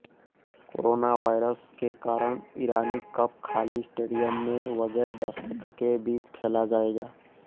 corona virus के कारण Irani cup खाली स्टेडियम में बगैर दर्शकों के बीच खेला जाएगा